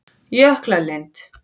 Jöklalind